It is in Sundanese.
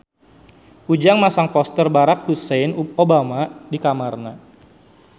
Ujang masang poster Barack Hussein Obama di kamarna